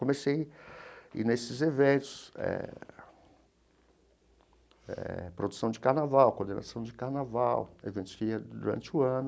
Comecei ir nesses eventos eh eh, produção de carnaval, coordenação de carnaval, eventos que ia durante o ano.